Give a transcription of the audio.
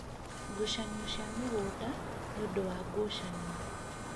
Ngucanio cia mĩgũnda, nĩ ũndũ wa ngucanio